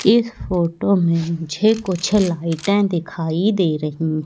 इस फोटो में मुझे कुछ लाइटें दिखाई दे रहीं--